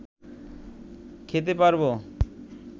খেতে পারব